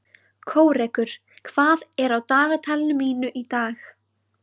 Kórekur, hvað er á dagatalinu mínu í dag?